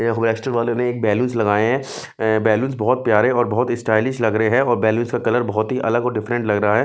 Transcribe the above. Restaurant वाले ने एक बैलूनस लगाए हैं बैलूंस बहुत प्यारे और बहुत स्टाइलिश लग रहे हैं और बैलूनस का कलर बहुत ही अलग और डिफरेंट लग रहा है।